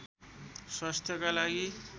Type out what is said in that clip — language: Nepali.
स्वास्थ्यका लागि